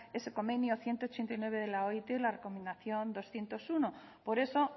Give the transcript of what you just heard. ese convenio ciento ochenta y nueve de la oit y la recomendación doscientos uno por eso